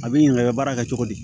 A bɛ ɲininka i bɛ baara kɛ cogo di